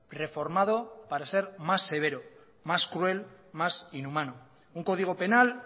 reformado para ser más severo más cruel más inhumano un código penal